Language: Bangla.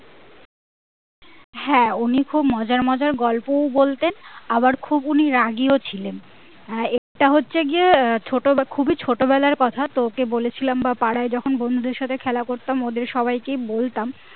হ্যাঁ উনি খুব মজার মজার গল্পও বলতেন আবার খুব উনি খুব রাগীও ছিলেন আহ এটা হচ্ছে গিয়ে ছোট বেলা খুবই ছোট বেলার কথা তোকে বলেছিলাম বা পাড়ার যখন বন্ধুদের সঙ্গে খেলা করতাম ওদের সবাইকেই বলতাম